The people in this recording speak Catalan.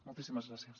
moltíssimes gràcies